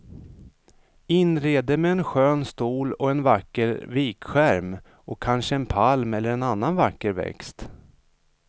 Inred det med en skön stol och en vacker vikskärm och kanske en palm eller en annan vacker växt.